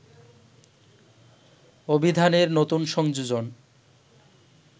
অভিধানের নতুন সংযোজন